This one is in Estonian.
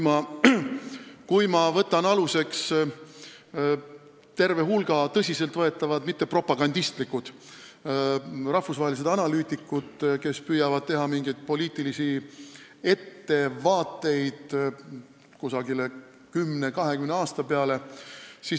Ma võtan aluseks terve hulga tõsiselt võetavate – mitte propagandistlike – rahvusvaheliste analüütikute arvamuse, kes püüavad teha poliitilisi ettevaateid 10–20 aasta peale.